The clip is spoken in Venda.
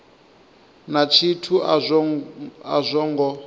na tshithu a zwo ngo